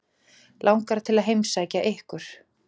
Langar til að heimsækja ykkur.